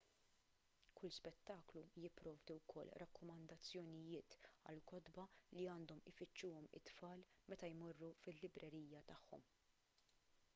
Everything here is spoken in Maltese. kull spettaklu jipprovdi wkoll rakkomandazzjonijiet għal kotba li għandhom ifittxuhom it-tfal meta jmorru fil-librerija tagħhom